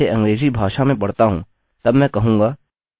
अतः यदि मैं इसे अंग्रेज़ी भाषा में पढता हूँ तब मैं कहूँगा